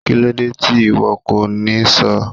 Kílódé tí ìwo kò ní sọ́ọ̀?